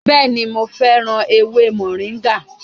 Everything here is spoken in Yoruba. Bẹẹni, mo féràn ewé moringa